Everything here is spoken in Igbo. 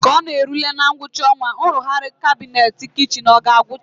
Ka ọ na-erule ngwụcha ọnwa, nrụgharị kabinet kichin ọ ga-agwụcha?